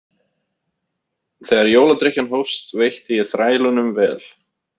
Þegar jóladrykkjan hófst veitti ég þrælunum vel.